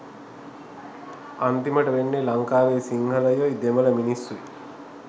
අන්තිමට වෙන්නේ ලංකාවේ සිංහලයොයි දෙමල මිනිස්සුයි